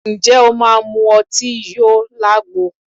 Ǹjẹ́ o máa mú ọtí yó lagbo?